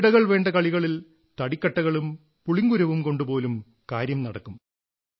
പകിടകൾ വേണ്ട കളികളിൽ തടിക്കട്ടകളും പുളിങ്കുരുവും കൊണ്ടുപോലും കാര്യം നടക്കും